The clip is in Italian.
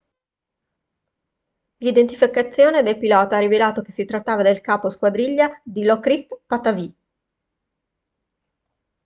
l'identificazione del pilota ha rivelato che si trattava del capo squadriglia dilokrit pattavee